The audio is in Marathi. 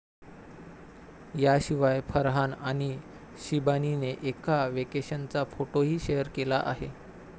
याशिवाय फरहान आणि शिबानीने एका व्हेकेशनचा फोटोही शेअर केला आहे.